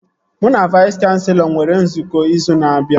Mụ na Vais kanselọ nwere nzukọ izu na-abịa